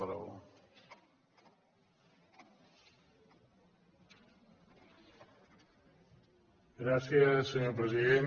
gràcies senyor president